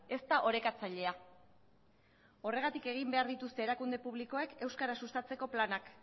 ez da orekatzailea horregatik egin behar dituzte erakunde publikoek euskara sustatzeko planak